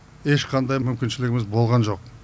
ешқандай мүмкіншілігіміз болған жоқ